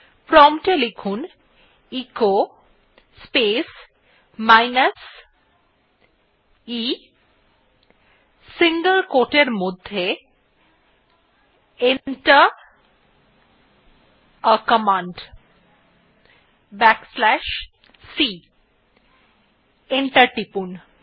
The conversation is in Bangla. প্রম্পট এ লিখুন echo space minus e single quote এর মধ্যে Enter a command back slash c এবং এন্টার টিপুন